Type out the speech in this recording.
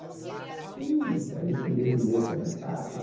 E aí eu tirei de letra.